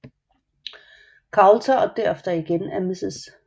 Coulter og derefter igen af Mrs